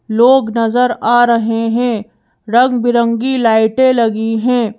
लोग नजर आ रहे हैं रंगबिरंगी लाइटें लगी हैं।